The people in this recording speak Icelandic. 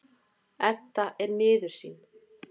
Edda er miður sín.